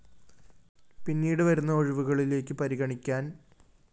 പിന്നീട് വരുന്ന ഒഴിവുകളിലേക്ക് പരിഗണിക്കാന്‍ ംംം